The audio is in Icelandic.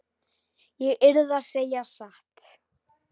Ég yrði að segja satt.